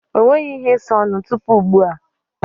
O nweghi ihe ịsa ọnụ tupu ugbu a.